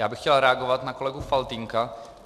Já bych chtěl reagovat na kolegu Faltýnka.